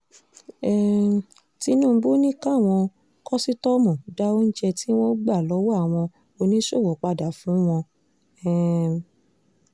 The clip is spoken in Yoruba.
um tinúbú ni káwọn kòsítọ́ọ̀mù dá oúnjẹ tí wọ́n gbà lọ́wọ́ àwọn oníṣòwò padà fún wọn um